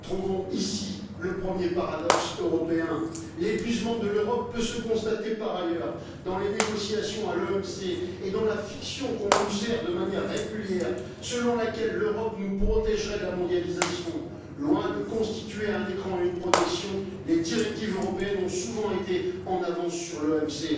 Nous trouvons ici le premier paradoxe européen. L'épuisement de l'Europe peut se constater par ailleurs, dans les négociations à l'OMC et dans la fiction qu'on nous sert de manière régulière, selon laquelle l'Europe nous protégerait de la mondialisation. Loin de constituer un écran et une protection, les directives européennes ont souvent été en avance sur l'OMC.